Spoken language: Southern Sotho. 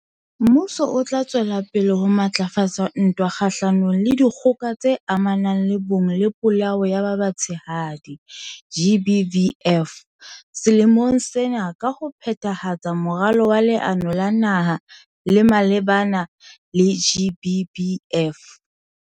Mmuso o tla tswela pele ho matlafatsa ntwa kgahlanong le Dikgoka tse Amanang le Bong le Polao ya ba Batshehadi, GBVF, selemong sena ka ho phethahatsa Moralo wa Leano la Naha le malebana le GBVF.